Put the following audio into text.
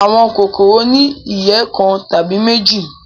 Àwọn kòkòrò ni ìyẹ́ kan tàbí méjì.